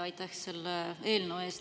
Aitäh selle eelnõu eest!